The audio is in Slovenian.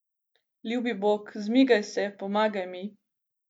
Ljubi Bog, zmigaj se, pomagaj mi.